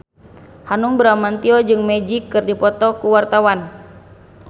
Hanung Bramantyo jeung Magic keur dipoto ku wartawan